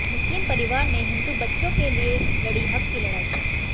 मुस्लिम परिवार ने हिंदु बच्चों के लिए लड़ी हक़ की लड़ाई